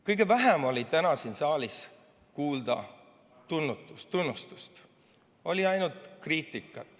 Kõige vähem oli täna siin saalis kuulda tunnustust, oli ainult kriitikat.